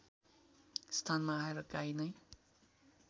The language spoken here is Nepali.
स्थानमा आएर गाई नै